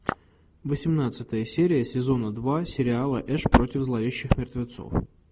восемнадцатая серия сезона два сериала эш против зловещих мертвецов